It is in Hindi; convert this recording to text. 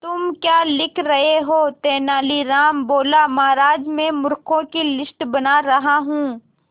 तुम क्या लिख रहे हो तेनालीराम बोला महाराज में मूर्खों की लिस्ट बना रहा हूं